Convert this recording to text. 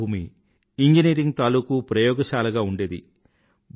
భారత భూమి ఇంజనీరింగ్ తాలూకూ ప్రయోగశాలగా ఉండేది